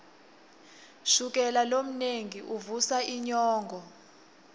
shukela lomnengi uvusa inyongo